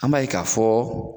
Anb'a k'a fɔ